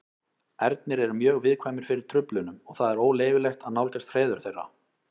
Ernir eru mjög viðkvæmir fyrir truflunum og það er óleyfilegt að nálgast hreiður þeirra.